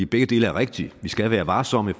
begge dele er rigtigt vi skal være varsomme i